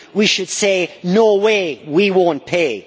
We should say no way, we won't pay'.